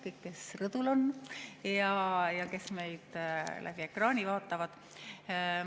Kõik, kes rõdul on ja kes meid ekraani vahendusel vaatavad!